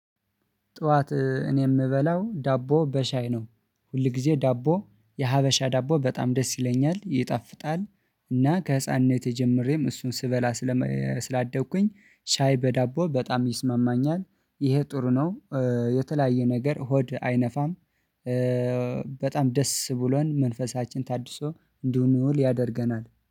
ጠዋት እኔ የምበላው ዳቦ በሻይ ነው ሁል ጊዜ ዳቦ የሀበሻ ዳቦ በጣም ደስ ይለኛል ይጣፍጣል። እና ከህፃንነት ጀምሬም እሱን ስበላ። ስላደግኩኝ ሻይ በዳቦ በጣም ይስማማኛል። ይሄ ጥሩ ነው። የተለያየ ነገር ሆድ አይነፋም። በጣም ደስ ብሎን መንፈሳችን ታድሶ እንድንውል ያደርገናል